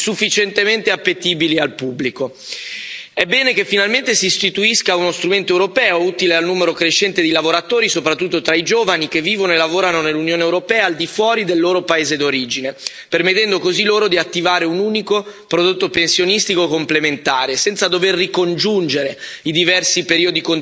È bene che finalmente si istituisca uno strumento europeo utile al numero crescente di lavoratori, soprattutto tra i giovani, che vivono e lavorano nell'Unione europea al di fuori del loro paese d'origine, permettendo così loro di attivare un unico prodotto pensionistico complementare, senza dover ricongiungere i diversi periodi contributivi versati nei vari Stati membri.